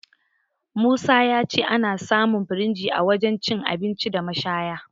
Musa ya ce ana samun firinji a wajen cin abinci da mashaya..